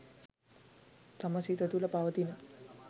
තම සිත තුළ පවතින